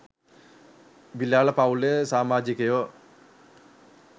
බිලාල පවුලේ සාමාජිකයෝ